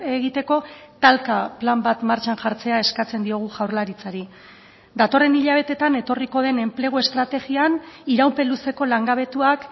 egiteko talka plan bat martxan jartzea eskatzen diogu jaurlaritzari datorren hilabeteetan etorriko den enplegu estrategian iraupen luzeko langabetuak